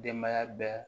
Denbaya bɛɛ